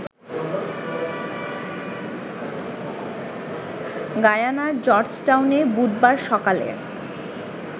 গায়ানার জর্জটাউনে বুধবার সকালে